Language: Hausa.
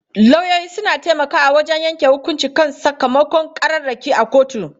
Lauyoyi suna taimakawa wajen yanke hukunci kan sakamakon ƙararraki a kotu.